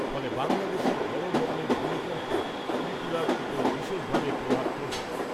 ফলে বাংলাদেশে বড় ধরনের ভূমিকম্পে ত্রিপুরার উপর বিশেষভাবে প্রভাব পড়বে।